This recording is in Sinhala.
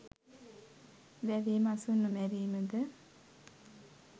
වැවේ මසුන් නොමැරීමද